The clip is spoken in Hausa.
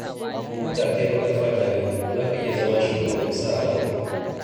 Ko da kai baƙar fata ne, za ka iya zama shugaban ƙasa a Amurka.